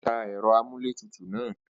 Ó tan ẹ̀rọ-amúlétutù náà.